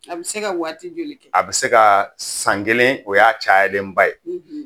A bɛ se ka waati joli kɛ a bɛ se ka san kelen o y'a cayalenba ye